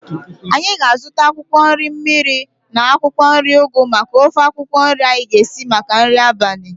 Anyị ga-azuta akwụkwọ nri mmiri na akwụkwọ nri ugu maka ofe akwụkwọ nri anyi ga-esi maka nri abalị